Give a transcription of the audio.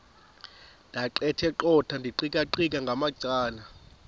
ndaqetheqotha ndiqikaqikeka ngamacala